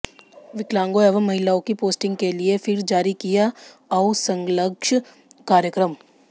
विकलांगों एवं महिलाओं की पोस्टिंग के लिये फिर जारी किया काउंसङ्क्षलग कार्यक्रम